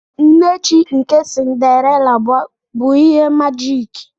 Nne chi nke Cinderella bụ ihe majiki.